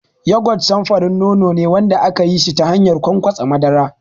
Yogurt samfurin nono ne wanda ake yin shi ta hanyar ƙwanƙwasa madara.